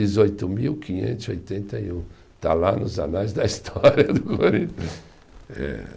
Dezoito mil quinhentos e oitenta e um, está lá nos anais da história do eh